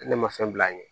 Ne ne ma fɛn bila an ye